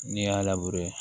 N'i y'a labure